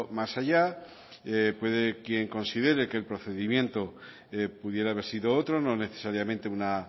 más allá puede quien considere que el procedimiento pudiera haber sido otro no necesariamente una